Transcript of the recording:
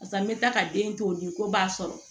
Barisa n bɛ taa ka den to ye ko b'a sɔrɔ